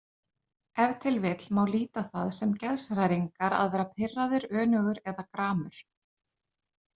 Ef til vill má líta á það sem geðshræringar að vera pirraður, önugur eða gramur.